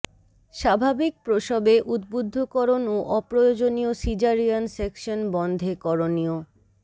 স্বাভাবিক প্রসবে উদ্বুদ্ধকরণ ও অপ্রয়োজনীয় সিজারিয়ান সেকশন বন্ধে করণীয়